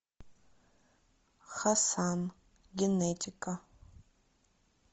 хасан генетика